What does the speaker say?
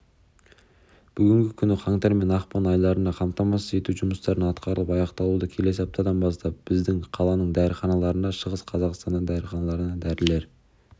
бүгінгі күні қаңтар мен ақпан айларына қамтамасыз ету жұмыстары атқарылып аяқталуда келесі аптадан бастап біздің қаланың дәріханаларына шығыс қазақстанның дәріханаларына дәрілер